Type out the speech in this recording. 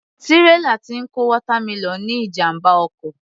Tírélà tí ń kó watermelon ní ìjàmbá ọkọ̀